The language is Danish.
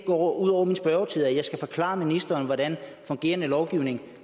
går ud over min spørgetid altså at jeg skal forklare ministeren hvordan fungerende lovgivning